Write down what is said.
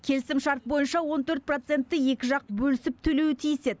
келісім шарт бойынша он төрт процентті екі жақ бөлісіп төлеуі тиіс еді